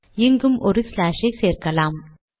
இங்கும் ஒரு ஸ்லாஷ் ஐ சேர்க்கலாம்